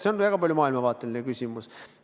See on väga palju maailmavaateline küsimus.